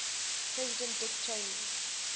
president dick cheney